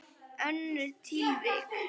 Önnur tilvik.